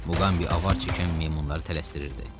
Muqambi avar çəkən meymunları tələsdirirdi.